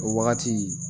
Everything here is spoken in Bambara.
O wagati